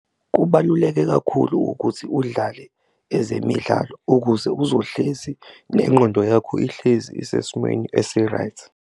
Kubaluleke kakhulu ukuthi udlale ezemidlalo ukuze uzohlezi nengqondo yakho ihlezi isesimweni esi-right.